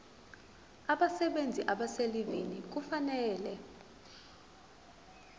abasebenzi abaselivini kufanele